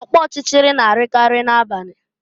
Ọkpọchịchịrị na-arịakarị n'abalị.